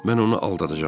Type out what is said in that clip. Mən onu aldadacam.